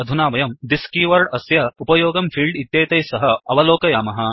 अधुना वयं thisदिस् कीवर्ड् अस्य उपयोगं फील्ड् इत्येतैः सह अवलोकयामः